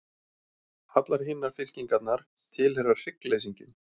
Allar hinar fylkingarnar tilheyra hryggleysingjum.